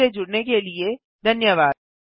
हमसे जुड़ने के लिए धन्यवाद